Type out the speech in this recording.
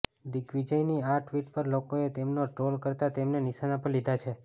દિગ્વિજયની આ ટ્વીટ પર લોકોએ તેમને ટ્રોલ કરતા તેમને નિશાના પર લીધા છે